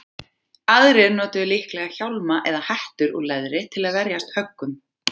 Aðrir notuðu líklega hjálma eða hettur úr leðri til að verjast höggum.